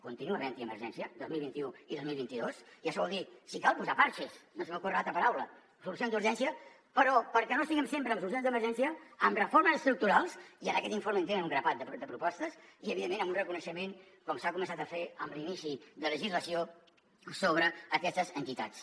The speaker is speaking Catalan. continua havent hi emergència dos mil vint u i dos mil vint dos i això vol dir si cal posar pegats no se m’ocorre altra paraula solucions d’urgència però perquè no estiguem sempre amb solucions d’emergència amb reformes estructurals i en aquest informe en tenen un grapat de propostes i evidentment amb un reconeixement com s’ha començat a fer amb l’inici de legislació sobre aquestes entitats